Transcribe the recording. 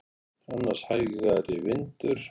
Annars hægari vindur